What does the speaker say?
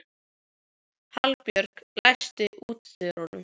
Hallbjörg, læstu útidyrunum.